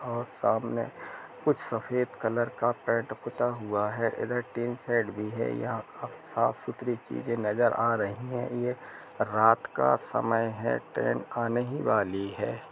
और सामने कुछ सफ़ेद कलर का पेंट पुता हुआ है इधर टिन शेड भी है यहां आ-साफ़ सुथरी चीज़े नज़र आ रही है ये रात का समय है ट्रैन आने ही वाली है।